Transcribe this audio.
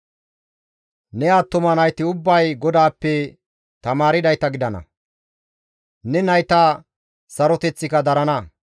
Ne attuma nayti ubbay GODAAPPE tamaardayta gidana; ne nayta saroteththika darana.